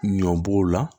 Ɲɔ b'o la